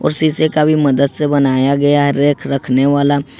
और शीशे का भी मदद से बनाया गया रैक रखने वाला।